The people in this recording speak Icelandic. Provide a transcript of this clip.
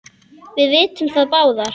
Við vitum það báðar.